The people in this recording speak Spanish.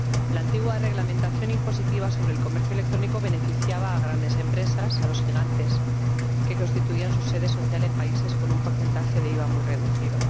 La antigua reglamentación impositiva sobre el comercio electrónico beneficiaba a grandes empresas, a los gigantes, que constituían su sede social en países con un porcentaje de IVA muy reducido.